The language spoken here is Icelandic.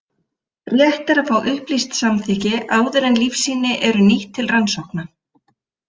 Rétt er að fá upplýst samþykki áður en lífsýni eru nýtt til rannsókna.